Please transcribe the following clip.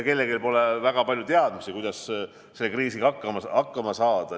Kellelgi pole ka väga palju teadmisi, kuidas selle kriisiga hakkama saada.